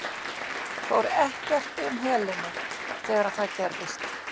Fór ekkert um Helenu þegar það gerðist?